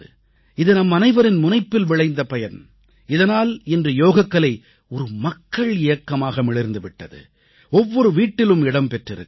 இது நம்மனைவரின் முனைப்பில் விளைந்த பலன் இதனால் இன்று யோகக்கலை ஒரு மக்கள் இயக்கமாக மிளிர்ந்து விட்டது ஒவ்வொரு வீட்டிலும் இடம் பெற்றிருக்கிறது